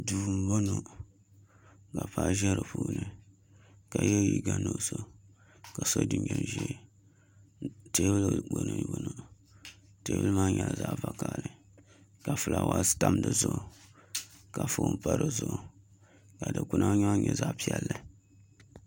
Duu n boŋo ka Paɣa ʒɛ di puuni ka yɛ liiga nuɣso ka so jinjɛm ʒiɛ teebuli gbuni n boŋo teebuli maa nyɛla zaɣ vakaɣili ka fulaawaasi tam di zuɣu ka foon pa di zuɣu ka dikpuna maa nyɛ zaɣ piɛlli